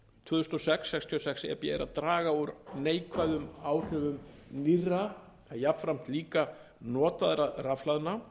þúsund og sex sextíu og sex e b er að draga úr neikvæðum áhrifum nýrra og jafnframt líka notaðra rafhlaðna